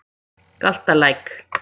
Galtalæk